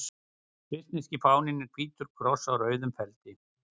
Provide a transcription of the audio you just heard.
Svissneski fáninn er hvítur kross á rauðum feldi.